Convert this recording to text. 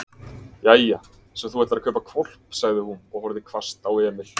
Jæja, svo þú ætlar að kaupa hvolp, sagði hún og horfði hvasst á Emil.